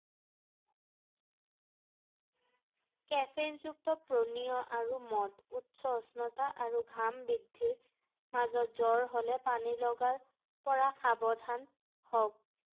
caffeine যুক্ত পনীয় আৰু মদ৷ উচ্চ উষ্ণতা আৰু ঘাম বৃদ্ধিত মাজত জ্বৰ হ’লে পানী লগাৰ পৰা সাৱধান হওঁক ৷